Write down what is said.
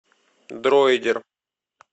дроидер